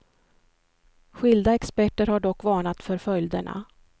Skilda experter har dock varnat för följderna.